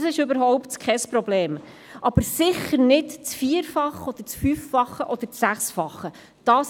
Das ist überhaupt kein Problem, aber sicher sollte es nicht das Vier-, Fünf- oder Sechsfache davon sein.